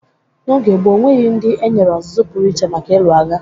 N'oge gboo, o nweghi ndị e nyere ozụzụ pụrụ iche maka ịlụ agha.